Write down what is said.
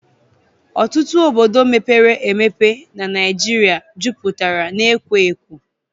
Ọtụtụ obodo mepere emepe n'Naijiria jupụtara n'ekwo ekwo